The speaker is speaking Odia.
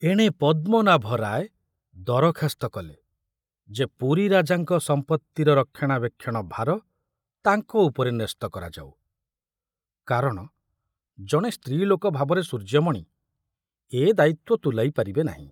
ଏଣେ ପଦ୍ମନାଭ ରାୟ ଦରଖାସ୍ତ କଲେ ଯେ ପୁରୀ ରାଜାଙ୍କ ସମ୍ପତ୍ତିର ରକ୍ଷଣାବେକ୍ଷଣ ଭାର ତାଙ୍କ ଉପରେ ନ୍ୟସ୍ତ କରାଯାଉ, କାରଣ ଜଣେ ସ୍ତ୍ରୀ ଲୋକ ଭାବରେ ସୂର୍ଯ୍ୟମଣି ଏ ଦାୟିତ୍ୱ ତୁଲାଇ ପାରିବେ ନାହିଁ।